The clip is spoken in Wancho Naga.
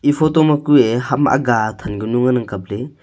e photo ma kuye ham ahaa athan pe nu ngan ang kapley.